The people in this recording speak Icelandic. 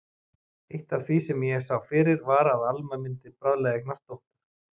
Eitt af því sem ég sá fyrir var að Alma mundi bráðlega eignast dóttur.